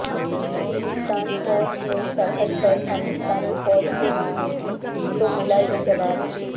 ہندوستان فوج نے سرحد پر پاکستانی فوج کو دی میٹھی تو ملا یہ جواب